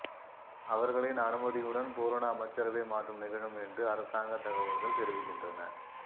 அவர்களின் அனுமதியுடன் பூரண அமைச்சரவை மாற்றம் நிகழும் என்று அரசாங்கத் தகவல்கள் தெரிவிக்கின்றன